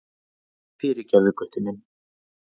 Fyrirgefðu, Gutti minn.